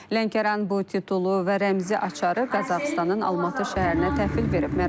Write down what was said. Lənkəran bu titulu və rəmzi açarı Qazaxıstanın Almatı şəhərinə təhvil verib.